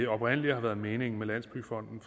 oprindelig har været meningen med landsbyggefonden